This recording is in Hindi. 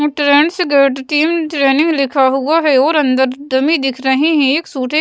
अम ट्रेंड्स गैड टीम ट्रेनिंग लिखा हुआ है और अंदर डमी दिख रहे हैं एक सूटे --